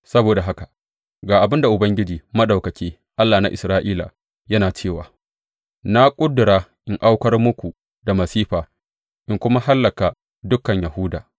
Saboda haka ga abin da Ubangiji Maɗaukaki, Allah na Isra’ila, yana cewa na ƙudura in aukar muku da masifa in kuma hallaka dukan Yahuda.